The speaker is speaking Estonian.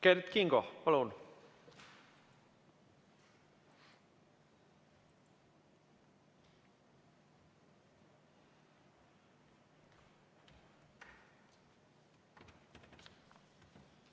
Kert Kingo, palun!